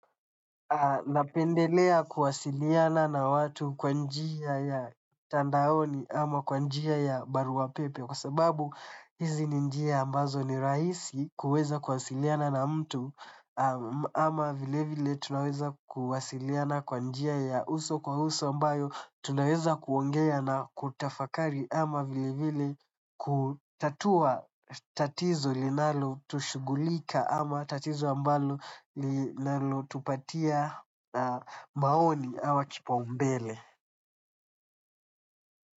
Napendelea kuwasiliana na watu kwa njia ya tandaoni ama kwa njia ya barua pepe. Kwa sababu hizi ni njia ambazo ni rahisi kuweza kuwasiliana na mtu ama vile vile tunaweza kuwasiliana kwa njia ya uso kwa uso ambayo tunaweza kuongea na kutafakari ama vile vile kutatua tatizo linalotushughulika ama tatizo ambalo linalolutupatia maoni ama kipaumbale.